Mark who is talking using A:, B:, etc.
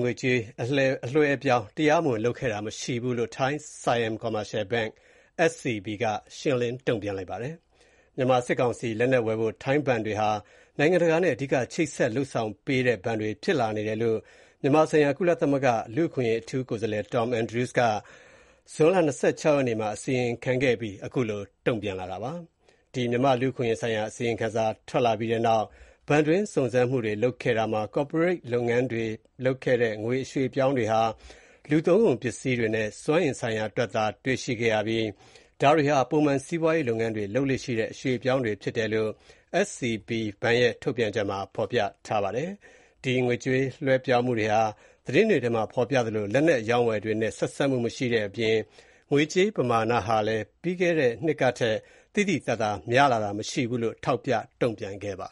A: ငွေကြေးအလွှဲအပြောင်းလုပ်မှုတွေမှာ တရားမဝင်လုပ်ခဲ့တာ မရှိဘူးလို့ Siam Commercial Bank (SCB) က ရှင်းလင်း တုံ့ပြန်လိုက်ပါတယ်။ မြန်မာစစ်ကောင်စီအတွက် ထိုင်းဘဏ်တွေဟာ နိုင်ငံတကာနဲ့ အဓိက ချိတ်ဆက် လုပ်ဆောင်ပေးနေတဲ့ ဘဏ်တွေဖြစ်လာနေတယ်လို့ မြန်မာနိုင်ငံဆိုင်ရာ ကုလသမဂ္ဂ လူ့အခွင့်အရေးအထူးကိုယ်စားလှယ်Tom Andrews က ဇွန်လ ၂၆ ရက်နေ့က မြန်မာနိုင်ငံလူ့အခွင့်အရေးဆိုင်ရာ အစီရင်ခံစာမှာ ဖော်ပြခဲ့ပြီးနောက် SBC ဘဏ်က ခုလို တုံ့ပြန်လိုက်တာပါ။ အစီရင်ခံစာထွက်လာပြီးနောက် ဘဏ်တွင်းစုံစမ်းမှုတွေလုပ်ခဲ့တာမှာ ကော်ပိုရိတ်လုပ်ငန်းတွေလုပ်ခဲ့တဲ့ ငွေအရွှေ့အပြောင်းတွေဟာ လူသုံးကုန်ပစ္စည်းတွေနဲ့ စွမ်းအင်ဆိုင်ရာအတွက် လုပ်ခဲ့တာတွေ့ရပြီး ဒါတွေဟာ ပုံမှန်စီးပွားရေးလုပ်ငန်းတွေ လုပ်လေ့ရှိတဲ့ အရွှေ့အပြောင်းတွေဖြစ်တယ်လို့ SCB ဘဏ်ရဲ့ ထုတ်ပြန်ချက်မှာ ဖော်ပြထားပါတယ်။ ဒီငွေကြေးလွှဲပြောင်းမှုတွေဟာ သတင်းတွေထဲမှာ ဖော်ပြသလို လက်နက်အရောင်းအဝယ်တွေနဲ့ ဆက်စပ်မှု မရှိတဲ့အပြင် ငွေကြေးပမာဏဟာလည်း ပြီးခဲ့တဲ့နှစ်ကထက် သိသိသာသာ များလာတာ မရှိဘူးလို့ ထောက်ပြ တုံ့ပြန်
B: ပါ